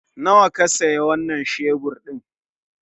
Nawa ka siya wanan shebur ɗin?